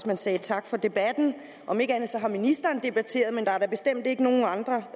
man sagde tak for debatten om ikke andet har ministeren debatteret men der er da bestemt ikke nogen andre